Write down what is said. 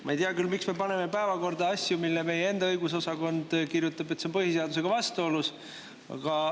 Ma ei tea küll, miks me paneme päevakorda asju, mille meie enda õigusosakond kirjutab, et see on põhiseadusega vastuolus.